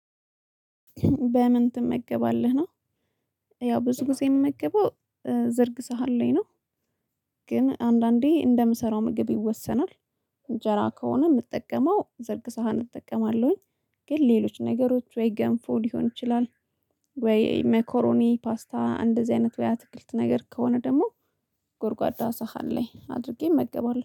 በምን ትመገባለህ ነው? ያው ብዙ ጊዜ የምመገበው ዝርግ ሳህን ላይ ነው። ግን አንዳንዴ እንደምሰራው ምግብ ይወሰናል። እንጀራ ከሆነ የምጠቀመው ዝርግ ሳህን እጠቀማለሁኝ። ግን ሌሎች ነገሮች ወይ ገንፎ ሊሆን ይችላል። ወይ መኮሮኒ ፓስታ እንደዚህ አይነት ወይ አትክልት ነገር ከሆነ ደግሞ ጎርጓዳ ሳህን ላይ አድርጌ እመገባለሁ